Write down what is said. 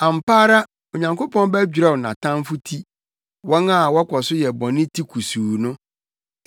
Ampa ara Onyankopɔn bɛdwerɛw nʼatamfo ti, wɔn a wɔkɔ so yɛ bɔne ti kusuu no.